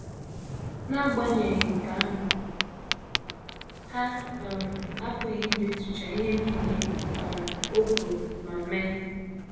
N’agbanyeghị nke ahụ, ha um apụghị idetucha ihe nile um o kwuru ma mee.